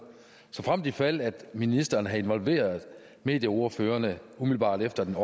såfremt ifald at ministeren havde involveret medieordføreren umiddelbart efter den